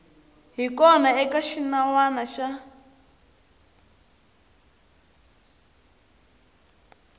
hi kona eka xinawana xa